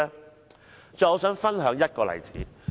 我最後想分享一個例子。